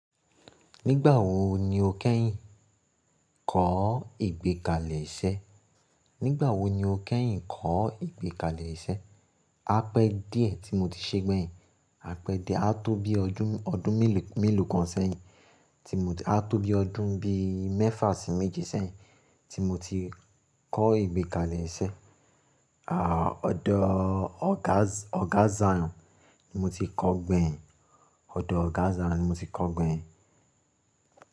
Nígbà wo ni o kẹ́yìn kọ́ ìgbẹ́kalẹ̀ iṣẹ́? Nígbà wo ni o kẹ́yìn kọ́ ìgbẹ́kalẹ̀ iṣẹ́? A pẹ́e díẹ̀ tí mo ti ṣe gbẹ́yìn. Apẹ́ díẹ̀ á tó bí i ọdún mélòó kan ṣẹ́yìn tí mo ti á tó bí i ọdún bí i mẹ́fà sí méje ṣẹ́yìn tí mo ti kọ́ ìgbẹ́kalẹ̀ iṣẹ́. Àá, ọ̀dọ̀ Oga Zion ni mo ti kọ́ gbẹ́yìn. Ọ̀dọ̀ Oga Zion ni mo ti kọ́ gbẹ́yìn.